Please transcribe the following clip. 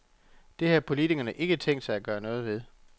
Det har politikerne ikke tænkt sig at gøre noget ved.